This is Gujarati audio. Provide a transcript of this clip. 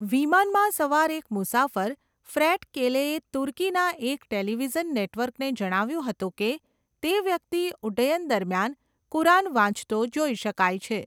વિમાનમાં સવાર એક મુસાફર ફ્રેટ કેલેએ તુર્કીના એક ટેલિવિઝન નેટવર્કને જણાવ્યુંં હતું કે તે વ્યક્તિ ઉડ્ડયન દરમિયાન કુરાન વાંચતો જોઈ શકાય છે.